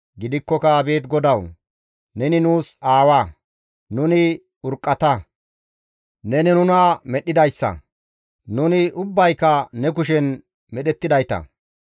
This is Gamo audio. Gidikkoka abeet GODAWU, neni nuus aawa; nuni urqqata; neni nuna medhdhidayssa; nuni ubbayka ne kushen medhettidayta.